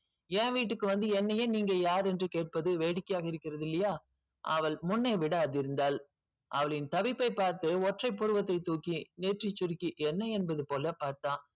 ஏன் வீட்டுக்கு வந்து என்னையே நீங்க யார் என்று கேட்பது வேடிக்கையாக இருப்பது இல்லையா அவள் முன்னே விட அதிர்ந்தாள் அவளின் தவிர்ப்பை பார்த்து ஒற்றை புருவத்தை தூக்கி ஏற்றி சுருக்கி என்ன என்பதுபோல பார்த்தான்.